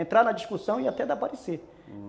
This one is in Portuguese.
Entrar na discussão e até de aparecer.